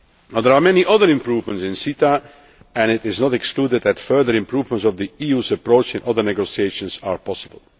predictability. There are many other improvements in the CETA and it is not excluded that further improvements of the EU's approach in other negotiations